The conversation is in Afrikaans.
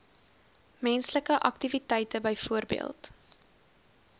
menslike aktiwiteite byvoorbeeld